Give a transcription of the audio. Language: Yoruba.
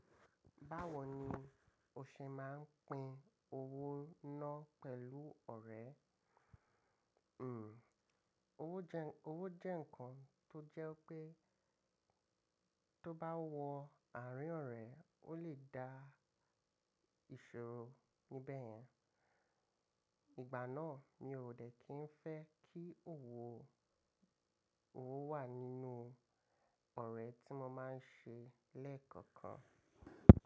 Báwo ni o ṣe máa ń pín owó náà pẹ̀lú ọ̀rẹ́? Hmm owó jẹ owó jẹ́ ǹkan tó jẹ́ pé tó bá wọ àárín ọ̀rẹ́, ó lè dá ìṣòro níbẹ̀ yẹn. Ìgbà náà mi ò dẹ̀ kí ń fẹ́ kí owó, owó wà nínú ọ̀rẹ́ tí mo máa ń ṣe lẹ́ẹ̀kọ̀kan.